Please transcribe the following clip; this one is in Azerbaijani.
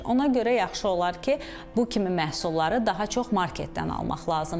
Ona görə yaxşı olar ki, bu kimi məhsulları daha çox marketdən almaq lazımdır.